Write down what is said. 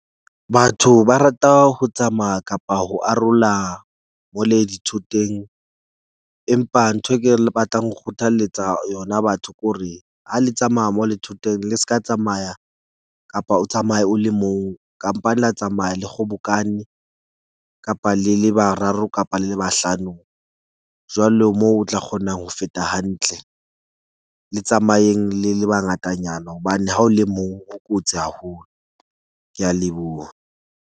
Batho ba rata ho tsamaya kapa ho arola mo le di thoteng, empa ntho e ke batlang ho kgothaletsa yona batho ko re ha le tsamaya mo le thoteng le se ka tsamaya kapa o tsamaye o le mong. Kampane la tsamaya le kgobokane kapa le le bararo kapa le le bahlano. Jwalo moo o tla kgonang ho feta hantle, le tsamayeng le le bangatanyana hobane ha o le mong ho kotsi haholo. Ke a leboha.